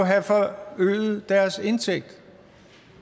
øget deres indtægt